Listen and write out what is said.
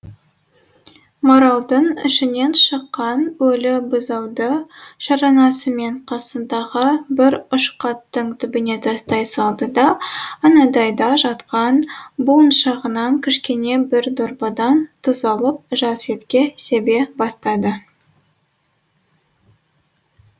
маралдың ішінен шыққан өлі бұзауды шаранасымен қасындағы бір ұшқаттың түбіне тастай салды да анадайда жатқан буыншағынан кішкене бір дорбадан тұз алып жас етке себе бастады